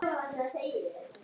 Ragnar, Kristín og börn.